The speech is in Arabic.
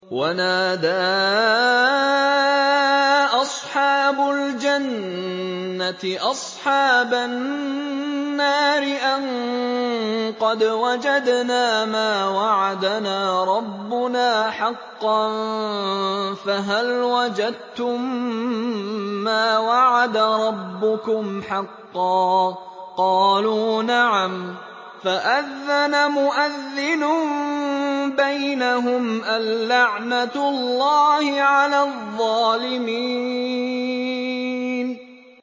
وَنَادَىٰ أَصْحَابُ الْجَنَّةِ أَصْحَابَ النَّارِ أَن قَدْ وَجَدْنَا مَا وَعَدَنَا رَبُّنَا حَقًّا فَهَلْ وَجَدتُّم مَّا وَعَدَ رَبُّكُمْ حَقًّا ۖ قَالُوا نَعَمْ ۚ فَأَذَّنَ مُؤَذِّنٌ بَيْنَهُمْ أَن لَّعْنَةُ اللَّهِ عَلَى الظَّالِمِينَ